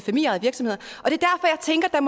er